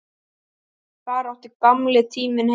Þar átti gamli tíminn heima.